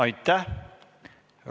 Aitäh!